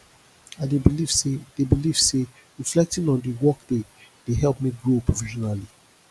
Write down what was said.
i dey believe say dey believe say reflecting on the workday dey help me grow professionally